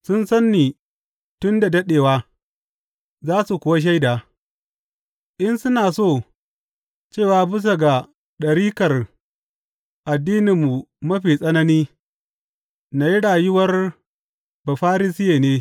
Sun san ni tun da daɗewa za su kuwa shaida, in suna so, cewa bisa ga ɗarikar addininmu mafi tsanani, na yi rayuwar Bafarisiye ne.